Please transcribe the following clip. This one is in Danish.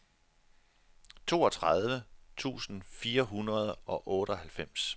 toogtredive tusind fire hundrede og otteoghalvfems